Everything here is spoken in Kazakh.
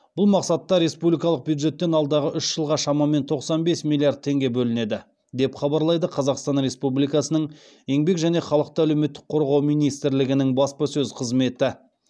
бұл мақсатта республикалық бюджеттен алдағы үш жылға шамамен тоқсан бес миллиард теңге бөлінеді деп хабарлайды қазақстан республикасының еңбек және халықты әлеуметтік қорғау министрлігінің баспасөз қызметі